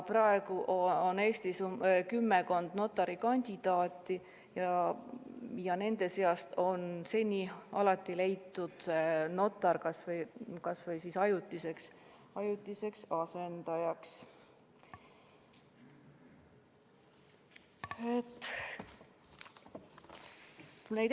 Praegu on Eestis kümmekond notari kandidaati ja nende seast on seni alati leitud notar kas või ajutiseks asendajaks.